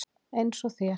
Eins og þér.